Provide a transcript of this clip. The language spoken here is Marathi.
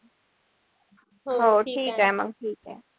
हो ठीकेय मग.